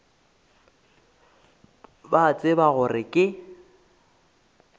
ba a tseba gore ke